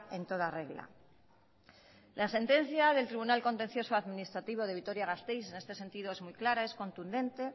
en toda regla la sentencia del tribunal contencioso administrativo de vitoria gasteiz en este sentido es muy clara es contundente